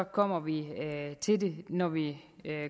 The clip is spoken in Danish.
kommer vi til det når vi